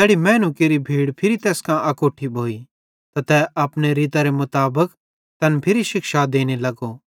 तैड़ी मैनू केरि भीड़ फिरी तैस कां अकोट्ठी भोइ त तै अपने रीतरे मुताबिक तैन फिरी शिक्षा देने लगो